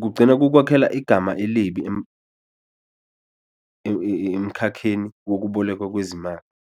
kugcina kukhwakhela igama elibi emkhakheni wokubolekwa kwezimali.